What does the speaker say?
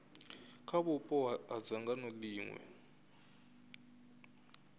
kha vhupo ha dzangano ḽiṅwe